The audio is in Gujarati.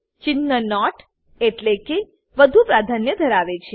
ચિન્હ નોટ એટલેકે વધુ પ્રાધાન્ય ધરાવે છે